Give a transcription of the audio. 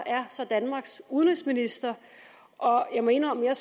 er så danmarks udenrigsminister og jeg må indrømme at